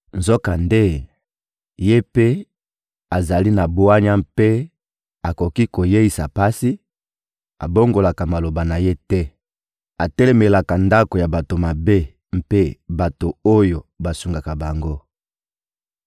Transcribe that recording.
Nzokande, Ye mpe azali na bwanya mpe akoki koyeisa pasi; abongolaka maloba na Ye te. Atelemelaka ndako ya bato mabe mpe bato oyo basungaka bango.